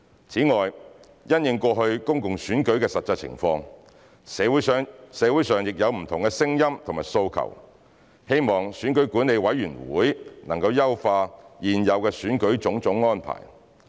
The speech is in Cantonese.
此外，因應過去公共選舉的實際情況，社會上亦有不同的聲音和訴求，希望選舉管理委員會能優化現有選舉的種種安排。